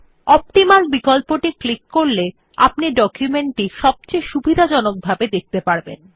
optimal বিকল্পটি click করলে আপনি ডকুমেন্ট টি সবচেয়ে সুবিধাজনক ভাবে দেখতে পারবেন